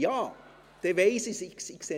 «Ja!», dann weiss ich es.